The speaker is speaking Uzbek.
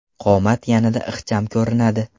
Qomat yanada ixcham ko‘rinadi.